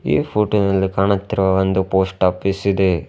ಈ ಫೋಟೋ ನಲ್ಲಿ ಕಾಣುತ್ತಿರುವ ಒಂದು ಪೋಸ್ಟ್ ಆಫೀಸ್ ಇದೆ.